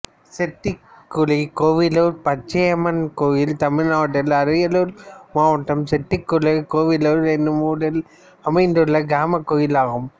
செட்டிக்குழிகோவிலூர் பச்சையம்மன் கோயில் தமிழ்நாட்டில் அரியலூர் மாவட்டம் செட்டிக்குழிகோவிலூர் என்னும் ஊரில் அமைந்துள்ள கிராமக் கோயிலாகும்